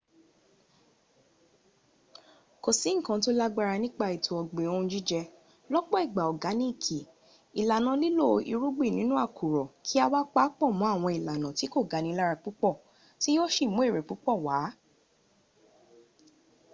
kò sí nǹkan tó lágbára nípa ètò ọ̀gbìn ohun jíjẹ lọ́pọ̀ ìgbà ọ̀gáníìkì ìlànà lílo irúgbìn nínú àkùrọ̀ kí a wá paápọ̀ mọ́ àwọn ìlànà tí kò ga ni lára púpọ̀ tí yóò sí mú èrè púpọ̀ w